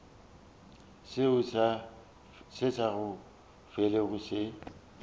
seo se sa felego se